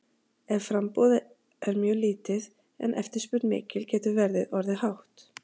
ef framboð er mjög lítið en eftirspurn mikil getur verðið orðið hátt